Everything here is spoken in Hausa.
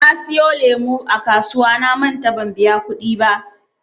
Na siyo lemu a kasuwa namanta ban biya kuɗi ba.